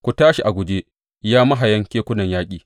Ku tashi a guje, ya mahayan kekunan yaƙi!